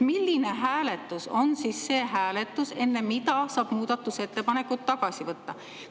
Milline hääletus on see hääletus, enne mida saab muudatusettepanekuid tagasi võtta?